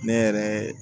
Ne yɛrɛ